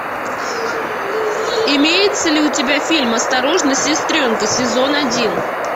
имеется ли у тебя фильм осторожно сестренка сезон один